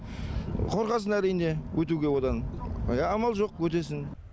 қорқасын әрине өтуге одан иә амал жоқ өтесің